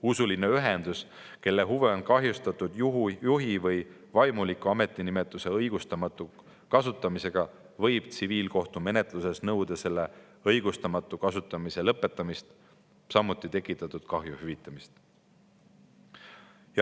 Usuline ühendus, kelle huve on kahjustatud juhi või vaimuliku ametinimetuse õigustamatu kasutamisega, võib tsiviilkohtumenetluses nõuda selle õigustamatu kasutamise lõpetamist, samuti tekitatud kahju hüvitamist.